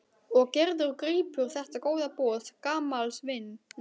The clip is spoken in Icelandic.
Og Gerður grípur þetta góða boð gamals vinar.